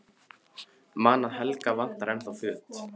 Man að Helga vantar ennþá föt.